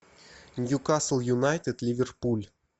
ньюкасл юнайтед ливерпуль